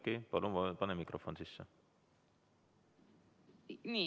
Oudekki, palun pane mikrofon sisse!